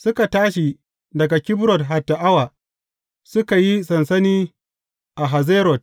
Suka tashi daga Kibrot Hatta’awa, suka yi sansani a Hazerot.